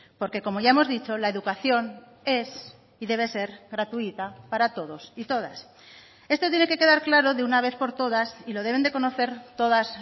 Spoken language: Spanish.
porque como ya hemos dicho la educación es y debe ser gratuita para todos y todas esto tiene que quedar claro de una vez por todas y lo deben de conocer todas